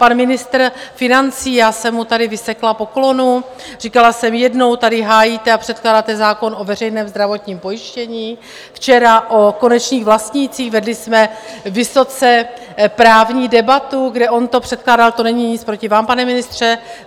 Pan ministr financí, já jsem mu tady vysekla poklonu, říkala jsem, jednou tady hájíte a předkládáte zákon o veřejném zdravotním pojištění, včera o konečných vlastnících, vedli jsme vysoce právní debatu, kdy on to předkládal - to není nic proti vám, pane ministře.